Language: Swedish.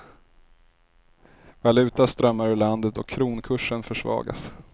Valuta strömmar ur landet och kronkursen försvagas.